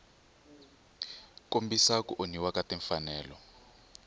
kombisa ku onhiwa ka timfanelo